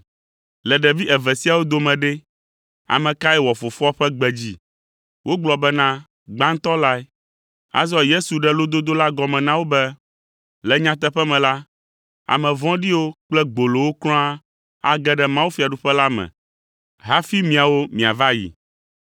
“Le ɖevi eve siawo dome ɖe, ame kae wɔ fofoa ƒe gbe dzi?” Wogblɔ bena, “Gbãtɔ lae.” Azɔ Yesu ɖe lododo la gɔme na wo be, “Le nyateƒe me la, ame vɔ̃ɖiwo kple gbolowo kura age ɖe mawufiaɖuƒe la me hafi miawo miava yi,